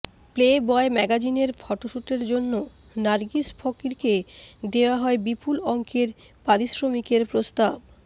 play boy ম্যাগাজিনের ফটোশ্যুটের জন্য নার্গিস ফকরিকে দেওয়া হয় বিপুল অঙ্কের পারিশ্রমিকের প্রস্তাব